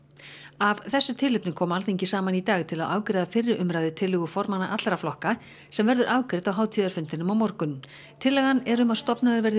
af þessu tilefni kom Alþingi saman í dag til að afgreiða fyrri umræðu um tillögu formanna allra flokka sem verður afgreidd á hátíðarfundinum á morgun tillagan er um að stofnaður verði